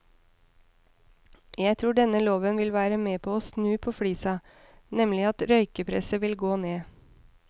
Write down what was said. Jeg tror denne loven vil være med å snu på flisa, nemlig at røykepresset vil gå ned.